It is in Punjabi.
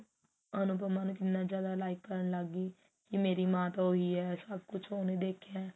ਅਨੁਪਮਾ ਨੂੰ ਕਿੰਨਾ ਜਿਆਦਾ like ਕਰਨ ਲੱਗ ਗੀ ਕੀ ਮੇਰੀ ਮਾਂ ਤਾਂ ਉਹੀ ਹੈ ਸਭ ਕੁਝ ਉਹਨੇ ਦੇਖਿਆ